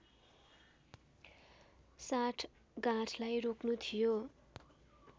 साँठगाँठलाई रोक्नु थियो